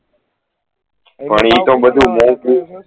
પણ એ તો બધુ મોન્ગુ